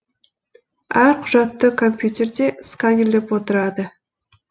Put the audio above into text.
әр құжатты компьютерде сканерлеп отырады